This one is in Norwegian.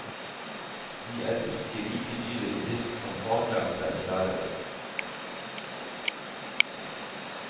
De er ikke like dyre i drift som faglærte lærere.